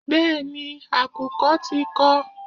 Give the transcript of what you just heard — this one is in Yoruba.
Bẹ́ẹ̀ni, àkùkọ tí kọ.